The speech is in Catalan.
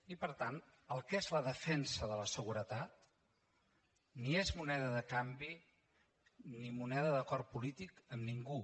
i per tant el que és la defensa de la seguretat ni és moneda de canvi ni moneda d’acord polític amb ningú